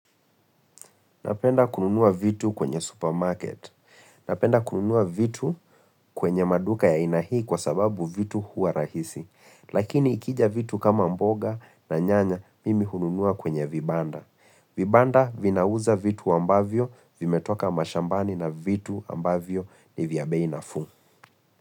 Napenda kununua vitu kwenye supermarket. Napenda kununua vitu kwenye maduka ya aina hii kwa sababu vitu hua rahisi. Lakini ikija vitu kama mboga na nyanya mimi hununua kwenye vibanda. Vibanda vinauza vitu ambavyo vimetoka mashambani na vitu ambavyo ni vya bei na fuu.